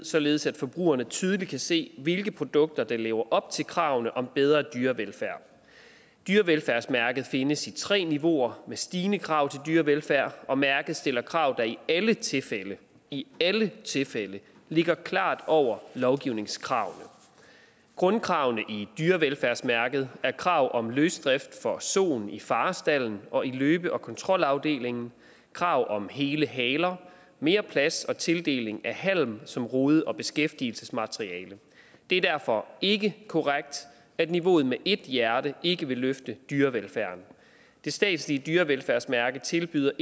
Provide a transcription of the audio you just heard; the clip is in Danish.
således at forbrugerne tydeligt kan se hvilke produkter der lever op til kravene om bedre dyrevelfærd dyrevelfærdsmærket findes i tre niveauer med stigende krav til dyrevelfærd og mærket stiller krav der i alle tilfælde i alle tilfælde ligger klart over lovgivningskravet grundkravene i dyrevelfærdsmærket er krav om løsdrift for soen i farestalden og i løbe og kontrolafdelingen krav om hele haler mere plads og tildeling af halm som rode og beskæftigelsesmateriale det er derfor ikke korrekt at niveauet med ét hjerte ikke vil løfte dyrevelfærden det statslige dyrevelfærdsmærke tilbyder